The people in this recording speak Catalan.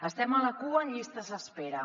estem a la cua en llistes d’espera